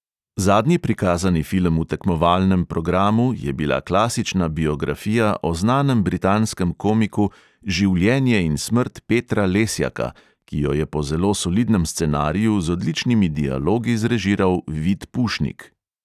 Zadnji prikazani film v tekmovalnem programu je bila klasična biografija o znanem britanskem komiku življenje in smrt petra lesjaka, ki jo je po zelo solidnem scenariju z odličnimi dialogi zrežiral vid pušnik.